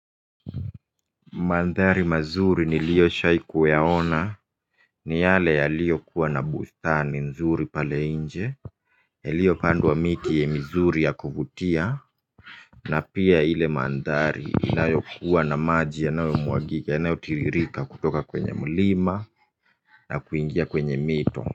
Mandhari mazuri nilishawahi kuyaona ni yale yaliyokuwa na bustani nzuri pale nje ilopandwa miti mizuri na yakuvutia na pia ile mandhari inayokuwa na maji yanayotiririka kutoka kwenye mlima na kuingia kwenye mito.